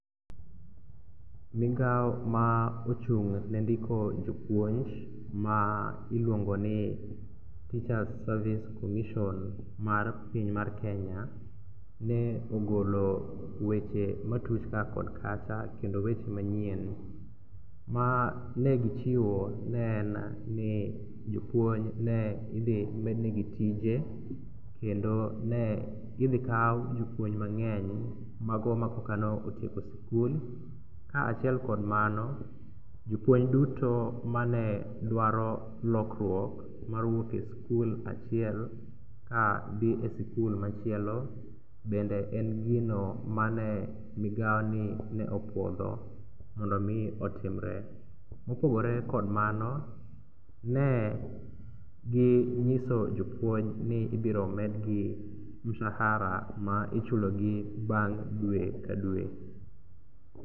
Migao ma ochung' ne ndiko jopuonj ma iluongo ni Teachers Service Commission mar piny mar Kenya ne ogolo weche matuch kaa kod kacha kendo weche manyien ma ne gichiwo ne en ni jopuonj ne idhi med negi tije kendo ne idhikaw jopuonj mang'eny mago makoka ne otieko sikul kaachiel kod mano, jopuonj duto mane dwaro lokruok mawuok e sikul machielo kadhi e sikul machielo bende en gino mane migaoni opuodho mondo mi otimre. Mopogore kod mano, ne ginyiso jopuonj ni igiro madgi musara ma ichulo bang' dwe ka dwe.